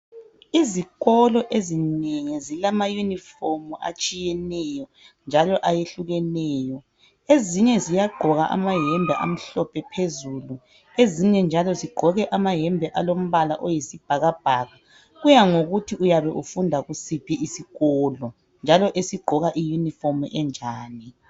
Izikolo ezinengi zilama Yunifomu atshiyeneyo njalo ayehlukeneyo. Ezinye ziyagqoka amayembe amhlophe phezulu ezinye njalo alombala oyisibhakabhaka. Kuyangokuthi uyabe ufunda kusiphi isikolo njalo esigqoka iYunifomu enjani.